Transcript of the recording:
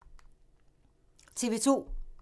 TV 2